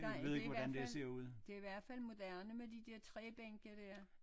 Nej det i hvert fald det i hvert fald moderne med de der træbænke dér